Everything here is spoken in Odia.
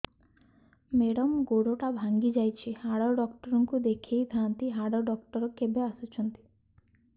ମେଡ଼ାମ ଗୋଡ ଟା ଭାଙ୍ଗି ଯାଇଛି ହାଡ ଡକ୍ଟର ଙ୍କୁ ଦେଖାଇ ଥାଆନ୍ତି ହାଡ ଡକ୍ଟର କେବେ ଆସୁଛନ୍ତି